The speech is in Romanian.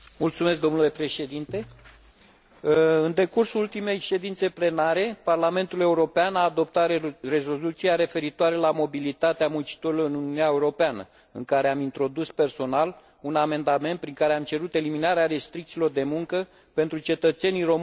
În decursul ultimei ședințe plenare, Parlamentul European a adoptat rezoluția referitoare la mobilitatea muncitorilor în Uniunea Europeană, în care am introdus personal un amendament prin care am cerut eliminarea restricțiilor de muncă pentru cetățenii români și bulgari până la sfârșitul acestui an.